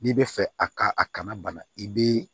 N'i bɛ fɛ a ka a kana bana i be